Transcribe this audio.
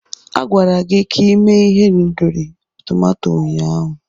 A gwara gị ka ime ihendori tomato ụnyaahụ.